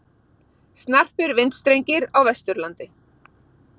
Snarpir vindstrengir á Vesturlandi